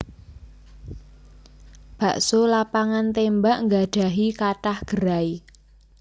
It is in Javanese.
Bakso Lapangan Tembak nggadhahi kathah gerai